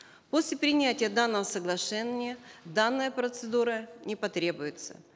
после принятия данного соглашения данная процедура не потребуется